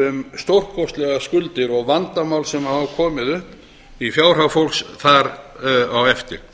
um stórkostlegar skuldir og vandamál sem hafa komið upp í fjárhag fólks þar á eftir